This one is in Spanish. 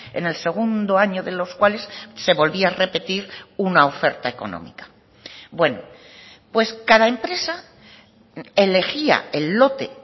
en el segundo año de los cuales se volvía a repetir una oferta económica bueno pues cada empresa elegía el lote